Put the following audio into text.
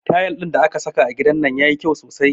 Tayal ɗin da aka saka a gidan nan yayi kyau sosai